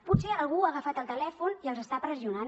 potser algú ha agafat el telèfon i els està pressionant